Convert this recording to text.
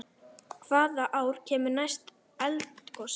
Hvaða ár kemur næst eldgos?